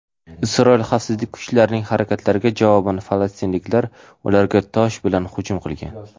Isroil xavfsizlik kuchlarining harakatlariga javoban falastinliklar ularga tosh bilan hujum qilgan.